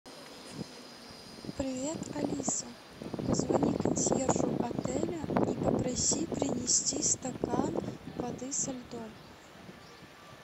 привет алиса позвони консьержу отеля и попроси принести стакан воды со льдом